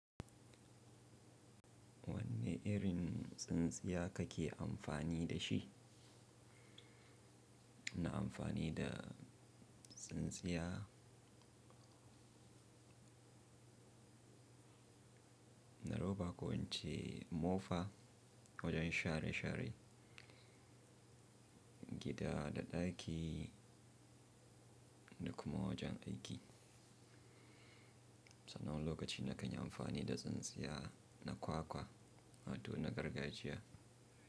Wanne irin tsintsiya kake amfani da shi? Ina amfani da tsintsiya, na roba ko ince mofa wajen share share, gida da ɗaki da kuma wajen aiki. Sanan wani lokaci na kan yi amfani da tsintsiya na kwakwa wa to na gargajiya.